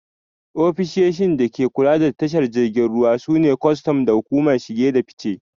Ofishishin da ke kula da tashar jiragen ruwa su ne kwastam da hukumar shige da fice